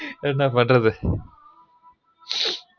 என்னபன்றது ஹ்ஹ்